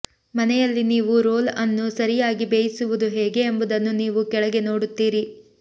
ಮನೆಯಲ್ಲಿ ನೀವು ರೋಲ್ ಅನ್ನು ಸರಿಯಾಗಿ ಬೇಯಿಸುವುದು ಹೇಗೆ ಎಂಬುದನ್ನು ನೀವು ಕೆಳಗೆ ನೋಡುತ್ತೀರಿ